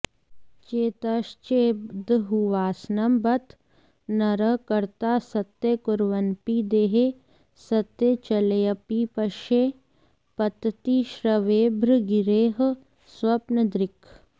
चेतश्चेद्बहुवासनं बत नरः कर्तास्त्यकुर्वन्नपि देहे सत्यचलेऽपि पश्य पतति श्वभ्रे गिरेः स्वप्नदृक्